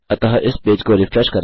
अतः इस पेज को रिफ्रेश करें